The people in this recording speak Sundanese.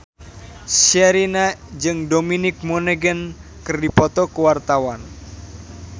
Sherina jeung Dominic Monaghan keur dipoto ku wartawan